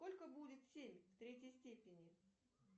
сколько будет семь в третьей степени